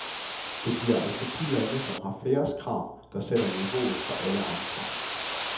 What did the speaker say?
Det bliver altså de lande, som har færrest krav, der sætter niveauet for alle andre.